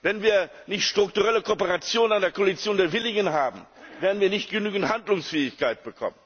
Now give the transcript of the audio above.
Wenn wir nicht strukturelle Kooperation, eine Koalition der Willigen haben, werden wir nicht genügend Handlungsfähigkeit bekommen.